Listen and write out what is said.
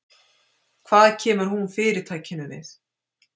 Hvað kemur hún Fyrirtækinu við?